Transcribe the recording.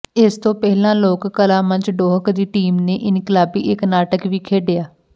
ਇਸ ਤੋਂ ਪਹਿਲਾਂ ਲੋਕ ਕਲਾ ਮੰਚ ਡੋਹਕ ਦੀ ਟੀਮ ਨੇ ਇਨਕਲਾਬੀ ਇੱਕ ਨਾਟਕ ਵੀ ਖੇਡਿਆ